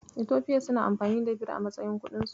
Itofiya suna amfani da Bir a matsayin kuɗinsu.